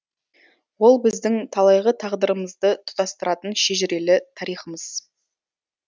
ол біздің талайғы тағдырымызды тұтастыратын шежірелі тарихымыз